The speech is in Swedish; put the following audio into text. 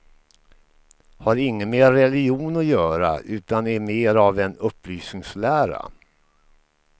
Har inget med religion att göra, utan är mer av en upplysningslära.